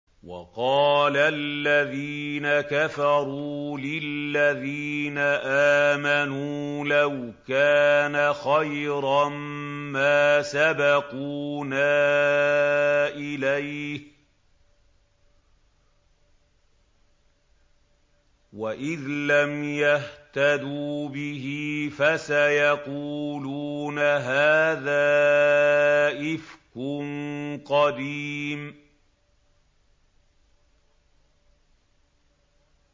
وَقَالَ الَّذِينَ كَفَرُوا لِلَّذِينَ آمَنُوا لَوْ كَانَ خَيْرًا مَّا سَبَقُونَا إِلَيْهِ ۚ وَإِذْ لَمْ يَهْتَدُوا بِهِ فَسَيَقُولُونَ هَٰذَا إِفْكٌ قَدِيمٌ